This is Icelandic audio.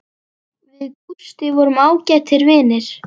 Við Gústi vorum ágætir vinir.